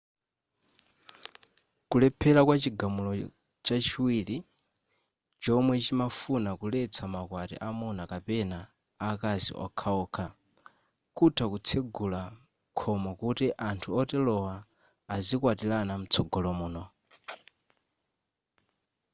kulephera kwa chigamulo chachiwiri chomwe chimafuna kuletsa maukwati amuna kapena akazi okhaokha kutha kutsegula khomo kuti anthu oterowa azikwatirana mtsogolo muno